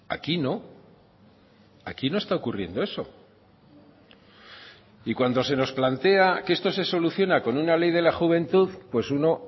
aquí no aquí no está ocurriendo eso y cuando se nos plantea que esto se soluciona con una ley de la juventud pues uno